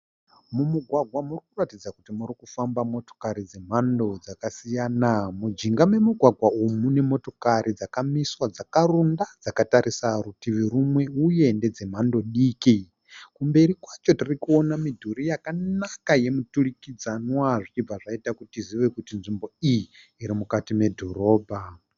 Mumugwagwa muri kuratidza kuti muri kufamba motokari dzemhando dzakasiyana. Mujinga memugwagwa umu mune motokari dzkamiswa dzakarunda dzakatarisa rutivi rumwe uye ndedze mhando diki. Kumberi kwacho tirikuona midhuri yakanaka yemiturikdzanwa zvichibva zvaita kuti tizive kuti nzvimbo iyi iri mukati medhorobha.